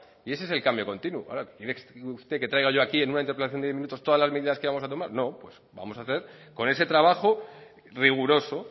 y ese es el cambio continuo ahora quiere usted que traiga yo aquí en una interpelación de diez minutos todas las medidas que vamos a tomar no pues vamos a hacer con ese trabajo riguroso